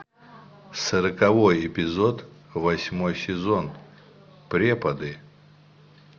сороковой эпизод восьмой сезон преподы